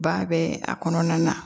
Ba bɛ a kɔnɔna na